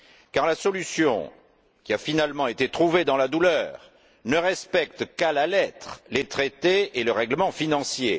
Car la solution qui a finalement été trouvée dans la douleur ne respecte qu'à la lettre les traités et le règlement financier.